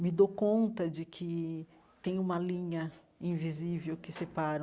Me dou conta de que tem uma linha invisível que separa